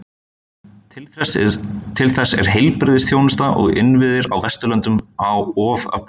Til þess er heilbrigðisþjónusta og innviðir á Vesturlöndum of öflug.